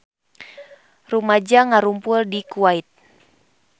Rumaja ngarumpul di Kuwait